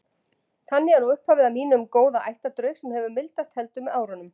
Þannig er nú upphafið að mínum góða ættardraug sem hefur mildast heldur með árunum.